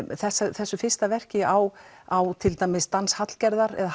þessu þessu fyrsta verki á á til dæmis dans Hallgerðar eða